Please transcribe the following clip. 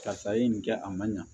Karisa ye nin kɛ a man ɲa